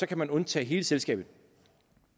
kan man undtage hele selskabet